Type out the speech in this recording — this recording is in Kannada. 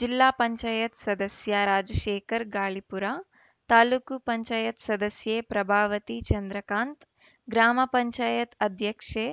ಜಿಲ್ಲಾ ಪಂಚಾಯತ್ ಸದಸ್ಯ ರಾಜಶೇಖರ ಗಾಳಿಪುರ ತಾಲೂಕ್ ಪಂಚಾಯತ್ ಸದಸ್ಯೆ ಪ್ರಭಾವತಿ ಚಂದ್ರಕಾಂತ್‌ ಗ್ರಾಮ ಪಂಚಾಯತ್ ಅಧ್ಯಕ್ಷೆ